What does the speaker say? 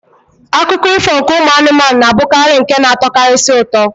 Akụkọ ifo ụmụ anụmanụ na-abụkarị nke na-atọkarisi ụtọ.